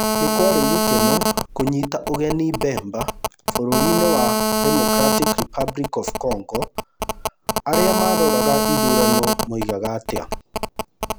Nĩ kwarĩ gĩkeno kũnyita ũgeni Bemba Bũrũri-ĩnĩ wa Democratic Republic of Congo, arĩa maroraga ithurano moigaga atĩa?